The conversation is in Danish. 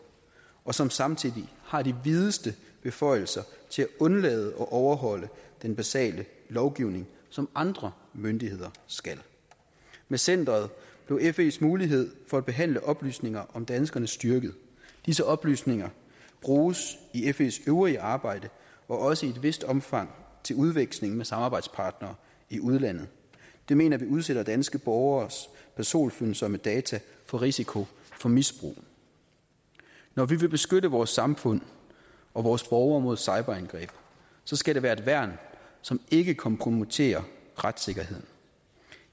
og som samtidig har de videste beføjelser til at undlade at overholde den basale lovgivning som andre myndigheder skal med centeret blev fes mulighed for at behandle oplysninger om danskerne styrket disse oplysninger bruges i fes øvrige arbejde og også i et vist omfang til udveksling med samarbejdspartnere i udlandet det mener vi udsætter danske borgeres personfølsomme data for risiko for misbrug når vi vil beskytte vores samfund og vores borgere mod cyberangreb skal det være et værn som ikke kompromitterer retssikkerheden